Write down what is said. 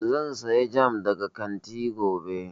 Zan saya jam daga kanti gobe